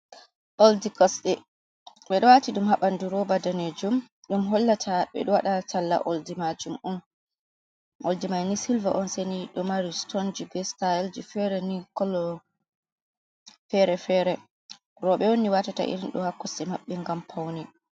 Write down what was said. Oldi Kosde: Ɓeɗo wati ɗum ha ɓandu roba danejum ɗum hollata ɓeɗo waɗa talla oldi majum on. Oldi maini silva on. Seini ɗo mari stonji be sitayelji fere ni kolo fere-fere. Roɓe on ni watata irin ɗo ha kosde maɓɓe ngam paune.